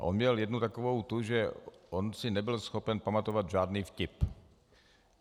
A on měl jednu takovou tu, že on si nebyl schopen pamatovat žádný vtip.